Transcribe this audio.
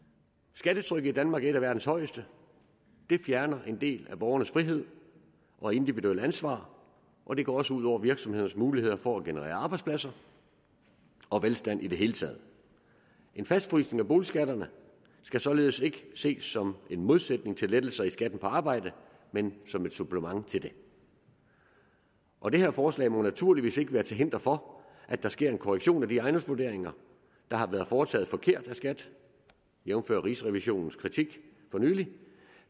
skattetrykket i danmark er et af verdens højeste det fjerner en del af borgernes frihed og individuelle ansvar og det går også ud over virksomheders muligheder for at generere arbejdspladser og velstand i det hele taget en fastfrysning af boligskatterne skal således ikke ses som en modsætning til lettelser i skatten på arbejde men som et supplement til det og det her forslag må naturligvis ikke være til hinder for at der sker en korrektion af de ejendomsvurderinger der har været foretaget forkert af skat jævnfør rigsrevisionens kritik for nylig